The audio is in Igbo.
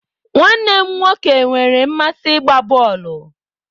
Nwanne m nwoke nwere mmasị n'ịgba bọọlụ.